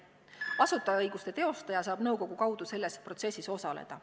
Asutajaõiguste teostaja saab nõukogu kaudu selles protsessis osaleda.